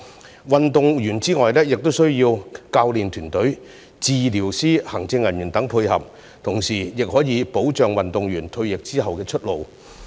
除了運動員之外，體育事業產業化也需要教練團隊、治療師、行政人員等的配合，同時也可以保障運動員退役後的出路。